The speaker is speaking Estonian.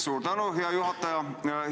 Suur tänu, hea juhataja!